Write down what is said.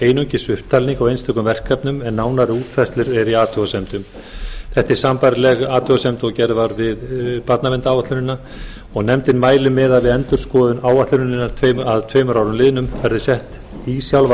einungis upptalning á einstökum verkefnum en nánari útfærslur eru í athugasemdum þetta er sambærileg athugasemd og gerð var við barnaverndaráætlunina og nefndin mælir með að við endurskoðun áætlunarinnar að tveimur árum liðnum verði sett í sjálfa